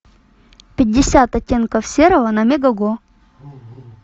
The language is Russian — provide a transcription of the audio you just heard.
пятьдесят оттенков серого на мегого